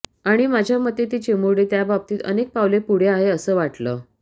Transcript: आणि माझ्या मते ती चिमुरडी त्याबाबतीत अनेक पावले पुढे आहे असं वाटलं